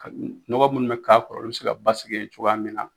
Ka nɔgɔ munnu be k'a kɔrɔ olu be se ka basigi yen cogoya min na